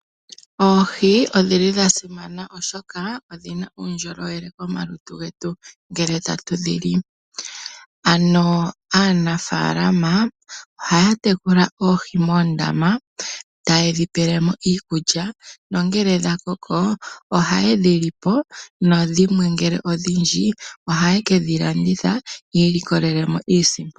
Oohi odha simana oshoka odhina uundjolowele momalutu getu ngele ta tudhili. Aanafalama ohaya tekula oohi ta yedhi tula moondama tayedhi pelemo iikulya ngele dha koko ohaye dhi lipo nongele odhindji oha yedhi landitha yi ilokolele mo iisimpo.